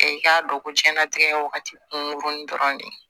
E k'a dɔn ko diɲɛnatigɛ wagati kunkurunin dɔrɔn de